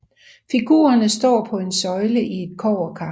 Figurerne står på en søjle i et kobberkar